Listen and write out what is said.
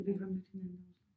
Ja vi har mødt hinanden i Rusland